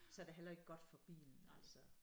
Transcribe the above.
Så det heller ikke godt for bilen altså